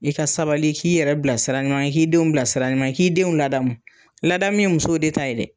I ka sabali i k'i yɛrɛ bila sira ɲuman, i k'i denw bila sira ɲuman, i k'i denw ladamu. Ladamu ye musow de ta ye dɛ.